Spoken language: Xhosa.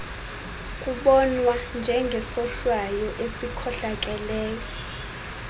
kubonwa njengesohlwayo esikhohlakeleyo